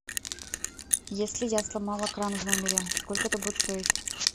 если я сломала кран в номере сколько это будет стоить